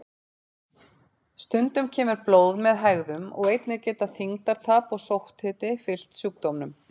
Stundum kemur blóð með hægðum og einnig geta þyngdartap og sótthiti fylgt sjúkdómnum.